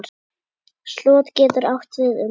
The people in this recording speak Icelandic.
Slot getur átt við um